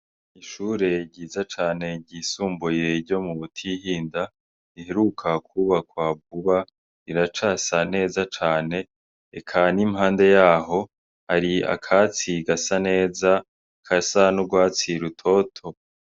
Ishure ryiza cane ryisumbuye ryo mu Butihinda, riheruka kwubakwa vuba riracasa neza cane, eka n'impande yaho hari akatsi gasa neza, gasa n'urwatsi rutoto.